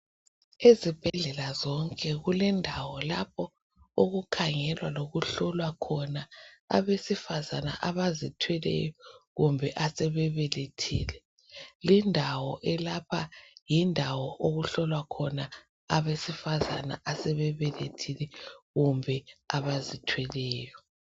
Ezibhedlela zonke kulendawo lapho okukhangelwa lokuhlolwa khona abesifazana abazithweleyo kumbe asebebelethile. Lindawo elapha yindawo abesifazana asebebelethile kumbe abazithweleyo.